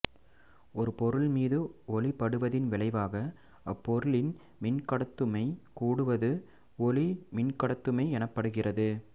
ஒரு பொருள் மீது ஒளி படுவதின் விளைவாக அப்பொருளின் மின்கடத்துமை கூடுவது ஒளிமின்கடத்துமை எனப்படுகின்றது